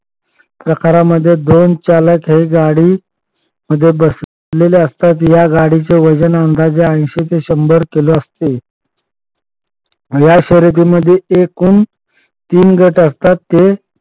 प्रकारामध्ये दोन चालक हे गाडी मध्ये बसलेले असतात. या गाडीचे वजन अंदाजे ऐशी ते शंभर किलो असते. या शर्यतीमध्ये एकूण तीन गट असतात ते